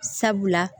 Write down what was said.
Sabula